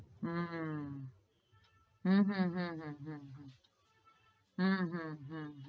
હમ હમ હમ હમ હમ હમ હમ હમ